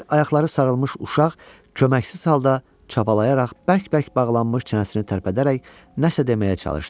Əl-ayaqları sarılmış uşaq köməksiz halda çapalayaraq bərk-bərk bağlanmış çənəsini tərpədərək nəsə deməyə çalışdı.